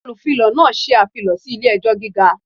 Olufilọ náà ṣe afilọ si ile-ẹjọ giga.